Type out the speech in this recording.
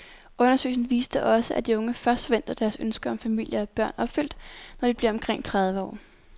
Undersøgelsen viste også, at de unge først forventer deres ønske om familie og børn opfyldt, når de bliver omkring tredive år.